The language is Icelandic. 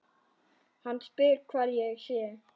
Hann spyr hvar ég sé.